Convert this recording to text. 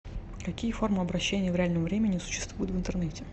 какие формы обращения в реальном времени существуют в интернете